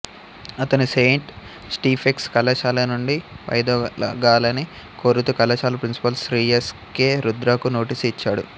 అతను saint Stephen's కళాశాల నుండి వైదొలగాలని కోరుతూ కళాశాల ప్రిన్సిపాల్ శ్రీ ఎస్ కె రుద్రకు నోటీసు ఇచ్చాడు